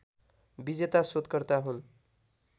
विजेता सोधकर्ता हुन्